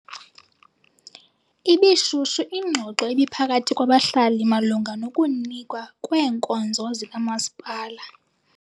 Ibishushu ingxoxo ebiphakathi kwabahlali malunga nokunikwa kweenkonzo zikamasipala.